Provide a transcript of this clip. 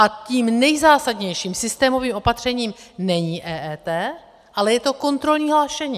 A tím nejzásadnějším systémovým opatřením není EET, ale je to kontrolní hlášení.